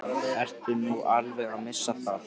Ertu nú alveg að missa það?